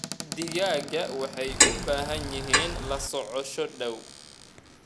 Digaagga waxay u baahan yihiin la socosho dhow.